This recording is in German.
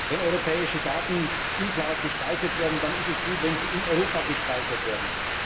Wenn europäische Daten in der Cloud gespeichert werden, dann ist es gut, wenn sie in Europa gespeichert werden.